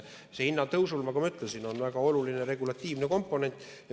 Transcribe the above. Hinnatõusul on, nagu ma ütlesin, väga oluline regulatiivne komponent.